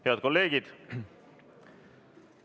Head kolleegid!